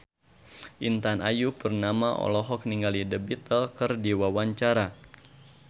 Intan Ayu Purnama olohok ningali The Beatles keur diwawancara